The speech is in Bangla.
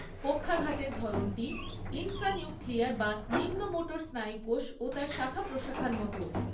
পক্ষাঘাতের ধরনটি ইনফ্রানিউক্লিয়ার বা নিম্ন মোটর স্নায়ুকোষ ও তার শাখাপ্রশাখার মতো।